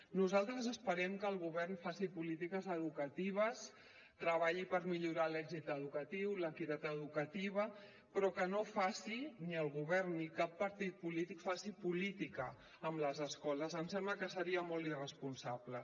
nosaltres esperem que el govern faci polítiques educatives treballi per millorar l’èxit educatiu l’equitat educativa però que no facin ni el govern ni cap partit polític política amb les escoles em sembla que seria molt irresponsable